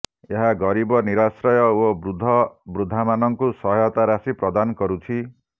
ଏହା ଗରିବ ନିରାଶ୍ରୟ ଓ ବୃଦ୍ଧବୃଦ୍ଧାମାନଙ୍କୁ ସହାୟତା ରାଶି ପ୍ରଦାନ କରୁଛି